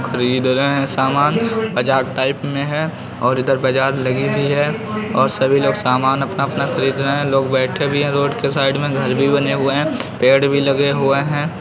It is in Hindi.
खरीद रहे हैं सामान बजार टाइप में है और इधर बजार लगी हुई हैं और सभी लोग सामान अपना-अपना खरीद रहे हैं लोग बैठे भी हैं रोड के साइड मे। घर भी बने हुए हैं। पेड़ भी लगे हुए हैं।